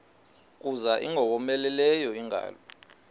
kuza ingowomeleleyo ingalo